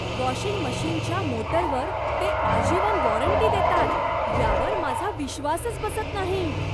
Washing मशिनच्या मोटरवर ते आजीवन वॉरंटी देतात यावर माझा विश्वासच बसत नाही.